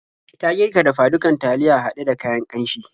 Ta girka dafa-dukan taliya haɗe da kayan ƙanshi.